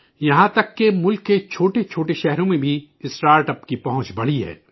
یہاں تک کہ ملک کے چھوٹے چھوٹے شہروں میں بھی اسٹارٹ اپ کی رسائی میں اضافہ ہوا ہے